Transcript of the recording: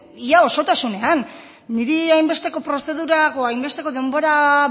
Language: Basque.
ia osotasunean niri hainbesteko prozedura hainbesteko denbora